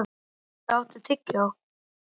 Bubbi, áttu tyggjó?